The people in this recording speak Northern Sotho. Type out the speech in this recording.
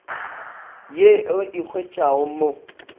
ye re e hwetšago mo